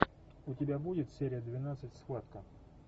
у тебя будет серия двенадцать схватка